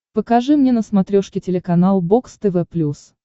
покажи мне на смотрешке телеканал бокс тв плюс